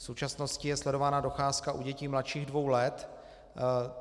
V současnosti je sledována docházka u dětí mladších dvou let.